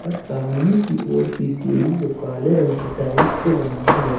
सामने की ओर की सीढ़ी को काले रंग के टाइल्स से बनाया गया--